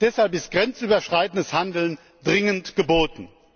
Deshalb ist grenzüberschreitendes Handeln dringend geboten.